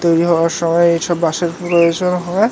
তৈরী হওয়ার সময় এইসব বাঁশের পুরো হিসেব হওয়ায়--